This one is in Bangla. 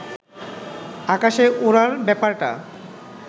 আকাশে ওড়ার ব্যাপারটা